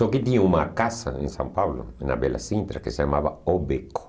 Só que tinha uma casa em São Paulo, na Bela Sintra, que se chamava O Beco.